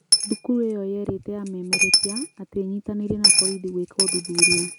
Thukuru ĩyo yerĩte amemerekia atĩ ĩnyitanĩiri na borithi gũeka ũthuthuria